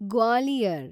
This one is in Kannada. ಗ್ವಾಲಿಯರ್